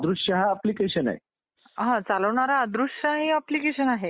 आणि सर कधीपासून निवडणूक ही आम्लात आलेली आहे ?